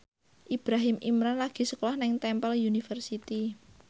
Ibrahim Imran lagi sekolah nang Temple University